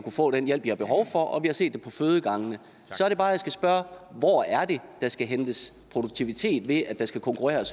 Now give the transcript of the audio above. få den hjælp de har behov for og vi har set det på fødegangene så er det bare jeg skal spørge hvor er det der skal hentes produktivitet ved at der skal konkurreres